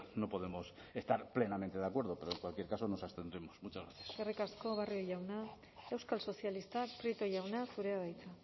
no podemos estar plenamente de acuerdo pero en cualquier caso nos abstendremos muchas gracias eskerrik asko barrio jauna euskal sozialistak prieto jauna zurea da hitza